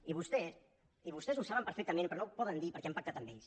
i vostès ho saben perfectament però no ho poden dir perquè han pactat amb ells